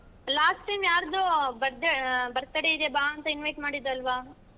Last time ಯಾರ್ದೋ birthday birthday ಇದೆ ಬಾ ಅಂತ invite ಮಾಡಿದ್ದೆ ಅಲ್ವ.